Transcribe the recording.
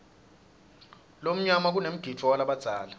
lomnyala kanemgidvo walabadzala